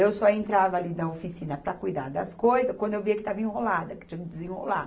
Eu só entrava ali na oficina para cuidar das coisas quando eu via que estava enrolada, que tinha que desenrolar.